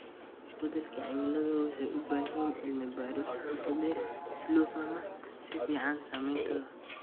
Isbedelka cimilada wuxuu u baahan yahay cilmi baaris qoto dheer si loo fahmo si fiican saameyntooda.